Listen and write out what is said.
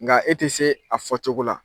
Nka e te se a fɔ cogo la